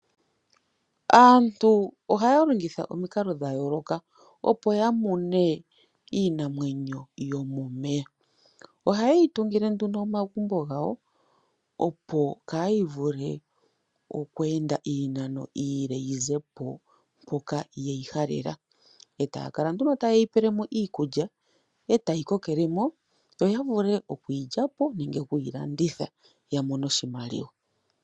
Aantu ohaya longitha omikalo dha yooloka, opo ya mune iinamwenyo yomomeya. Ohaye yi tungile nduno omagumbo gawo, opo kaayi vule oku ende iinano iile yi ze po mpoka ye yi halela, e taya kala nduno taye yi pele mo iikulya, e tayi kokele mo. Yo ya vule okuyi landitha nenge okuyi lya po ya mone oshimaliwa.